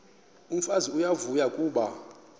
umfazi uyavuya kuba